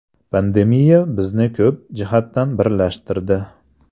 Pandemiya bizni ko‘p jihatdan birlashtirdi.